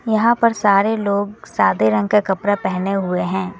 यहां पर सारे लोग सादे रंग का कपड़ा पहने हुए हैं।